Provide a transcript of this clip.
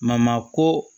ko